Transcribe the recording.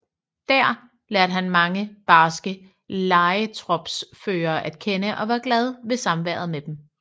Dér lærte han mange barske lejetropsførere at kende og var glad ved samværet med dem